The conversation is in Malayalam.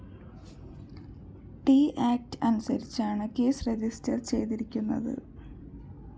ട്‌ ആക്ട്‌ അനുസരിച്ചാണ് കേസ് രജിസ്റ്റർ ചെയ്തിരിക്കുന്നത്